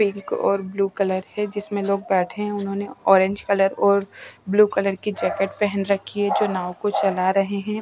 Pink और blue colour है जिसमें लोग बैठे हैं उन्होंने ऑरेंज कलर और ब्लू कलर की जैकेट पहन रखी है जो नाव को चला रहे हैं।